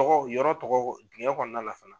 tɔgɔ yɔrɔ tɔgɔ cɛn kɔnɔna la